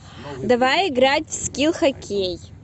давай играть в скил хоккей